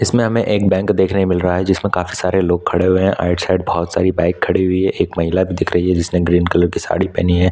इसमें हमे एक बैंक देखने मिल को रहा है जिसमें काफी सारे लोग खड़े हुए हैं आइड साइड बहुत सारी बाइक खड़ी हुई है एक महिला भी दिख रही है जिसने ग्रीन कलर की साड़ी पहनी हुई हैं।